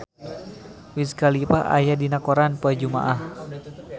Wiz Khalifa aya dina koran poe Jumaah